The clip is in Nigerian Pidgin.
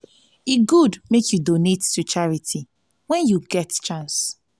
e good make you donate to charity when you get chance